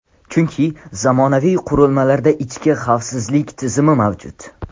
Chunki zamonaviy qurilmalarda ichki xavfsizlik tizimi mavjud.